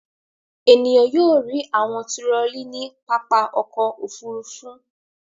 Ènìyàn yóò rí àwọn turọlí ní pápá ọkọ̀-òfurufú.